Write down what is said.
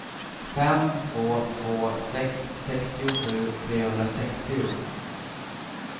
fem två två sex sextiosju trehundrasextio